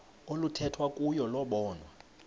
oluthethwa kuyo lobonwa